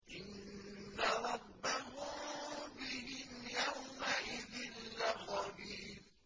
إِنَّ رَبَّهُم بِهِمْ يَوْمَئِذٍ لَّخَبِيرٌ